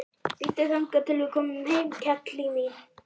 Bíddu þangað til við komum heim, kelli mín.